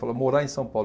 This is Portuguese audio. Fala, morar em São Paulo.